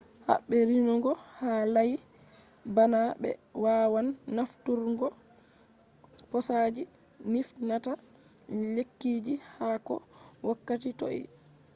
habe renugo ha layi bana be wawan nafturgo posaji nifnata lekkiji ha ko wakkati toi